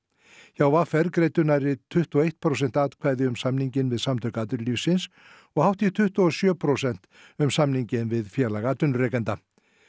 hjá v r greiddu nærri tuttugu og eitt prósent atkvæði um samninginn við Samtök atvinnulífsins og hátt í tuttugu og sjö prósent um samninginn við Félag atvinnurekenda